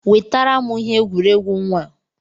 Wetara m ihe egwuregwu nwa a!